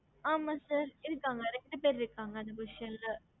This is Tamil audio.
ஹம்